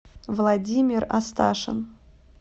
владимир асташин